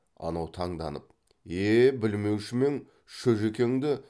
анау таңданып е білмеушімең шөжікеңді